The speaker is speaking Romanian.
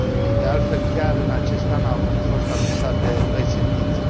De altfel, chiar în acest an au fost anunțate noi sentințe.